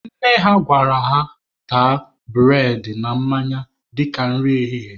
Nne ha gwara ha taa bụredị na mmanya dịka nri ehihie.